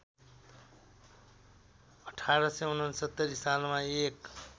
१८६९ सालमा एक